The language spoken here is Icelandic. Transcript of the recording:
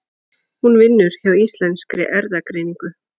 Hún vinnur hjá Íslenskri erfðagreiningu.